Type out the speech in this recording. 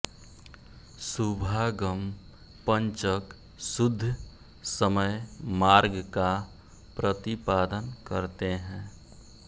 शुभागम पंचक शुद्ध समय मार्ग का प्रतिपादन करते हैं